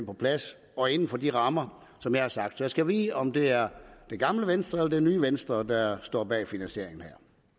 på plads og inden for de rammer som jeg har sagt så jeg skal vide om det er det gamle venstre eller det nye venstre der står bag finansieringen